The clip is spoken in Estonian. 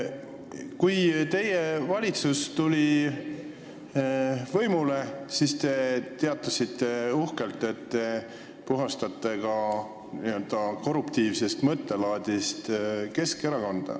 Kui teie valitsus võimule tuli, siis te teatasite uhkelt, et te puhastate Keskerakonda ka n-ö korruptiivsest mõttelaadist.